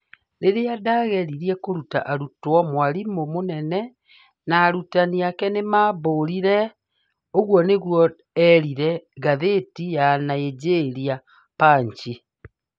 Rĩrĩa ndageririe kũruta arutwo, mwarimũ mũnene na arutani ake nĩ maambũrire, ũguo nĩguo eerire ngathĩti ya Nigeria Punch.